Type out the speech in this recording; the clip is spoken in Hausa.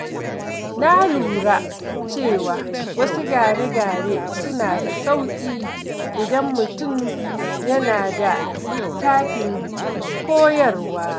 Na lura cewa wasu gyare-gyare suna da sauƙi idan mutum yana da littafin koyarwa.